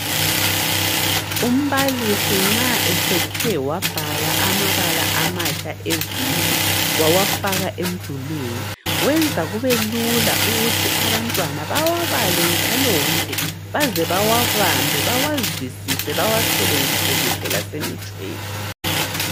Umbalisi nxa esethe wabhala amabala amatsha eviki, wawafaka emdulini wenza kubelula ukuthi abantwana bawabale njalonje baze bawabambe, bawazwisise bawasebenzise kuhle lasemitshweni.